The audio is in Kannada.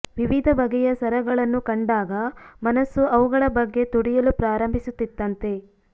ವಿವಿಧ ಬಗೆಯ ಸರಗಳನ್ನು ಕಂಡಾಗ ಮನಸ್ಸು ಅವುಗಳ ಬಗ್ಗೆ ತುಡಿಯಲು ಪ್ರಾರಂಭಿಸುತ್ತಿತ್ತಂತೆ